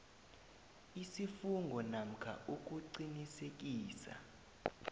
isifungo namkha ukuqinisekisa